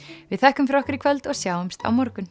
við þökkum fyrir okkur í kvöld og sjáumst á morgun